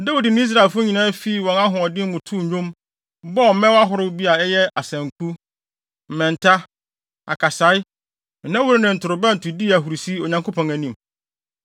Dawid ne Israelfo nyinaa fii wɔn ahoɔden mu too nnwom, bɔɔ mmɛn ahorow a bi yɛ asanku, mmɛnta, akasae, nnawuru ne ntorobɛnto dii ahurusi, Onyankopɔn anim.